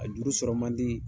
A juru sɔrɔ man di.